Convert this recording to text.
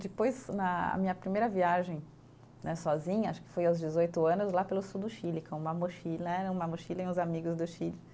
Depois, na minha primeira viagem né sozinha, acho que foi aos dezoito anos, lá pelo sul do Chile, com uma mochila, era uma mochila e uns amigos do Chile.